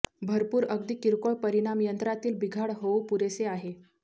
भरपूर अगदी किरकोळ परिणाम यंत्रातील बिघाड होऊ पुरेसे आहे